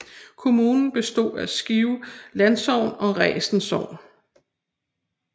Kommunen bestod af Skive Landsogn og Resen Sogn